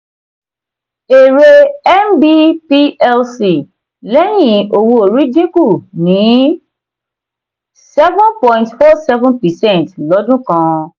èrè nb plc lẹ́yìn owó-orí dínkù ní seven point four seven percent lọ́dún kan.